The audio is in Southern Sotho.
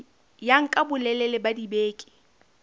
ya nka bolelele ba dibeke